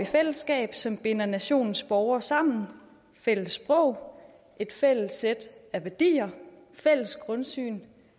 fællesskab som binder nationens borgere sammen fælles sprog et fælles sæt af værdier fælles grundsyn